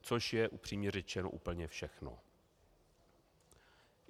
Což je, upřímně řečeno, úplně všechno.